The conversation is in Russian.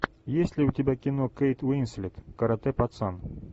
есть ли у тебя кино кейт уинслет каратэ пацан